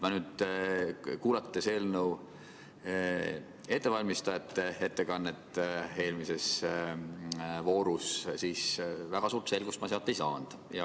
Kuulates eelnõu ettevalmistajate ettekannet eelmises voorus, ma väga suurt selgust ei saanud.